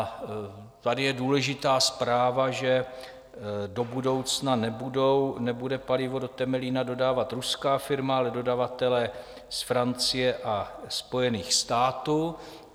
A tady je důležitá zpráva, že do budoucna nebude palivo do Temelína dodávat ruská firma, ale dodavatelé z Francie a Spojených států.